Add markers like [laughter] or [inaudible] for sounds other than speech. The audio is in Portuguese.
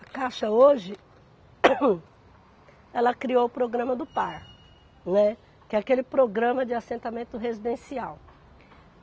A Caixa, hoje, [coughs] ela criou o programa do Par, né, que é aquele programa de assentamento residencial.